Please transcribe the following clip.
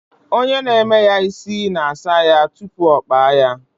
Onye na-eme isi na-asa ya isi tupu ọ kpaa ya